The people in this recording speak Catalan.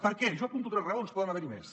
per què jo n’apunto tres raons poden haver n’hi més